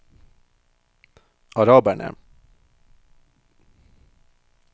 araberne